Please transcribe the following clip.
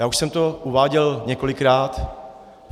Já už jsem to uváděl několikrát.